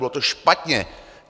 Bylo to špatně.